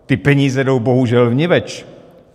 Ty peníze jdou bohužel vniveč.